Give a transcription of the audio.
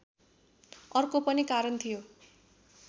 अर्को पनि कारण थियो